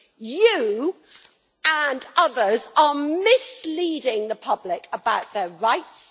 You, and others, are misleading the public about their rights.